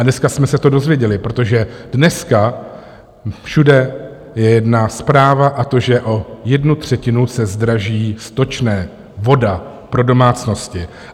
A dneska jsme se to dozvěděli, protože dneska všude je jedna zpráva, a to, že o jednu třetinu se zdraží stočné, voda pro domácnosti.